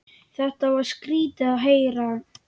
Þetta var skrýtið að heyra.